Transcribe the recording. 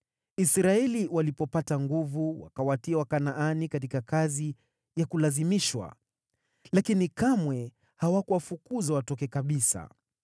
Israeli walipopata nguvu, wakawatia Wakanaani katika kazi ya kulazimishwa, lakini kamwe hawakuwafukuza watoke kabisa.